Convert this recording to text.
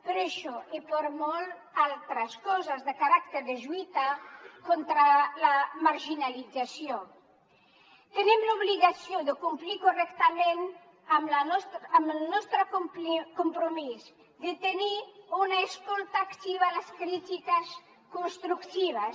per això i per moltes altres coses de caràcter de lluita contra la marginalització tenim l’obligació de complir correctament amb el nostre compromís de tenir una escolta activa a les crítiques constructives